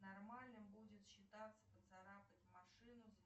нормальным будет считаться поцарапать машину